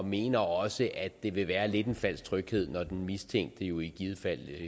mener også at det vil være lidt en falsk tryghed når den mistænkte jo i givet fald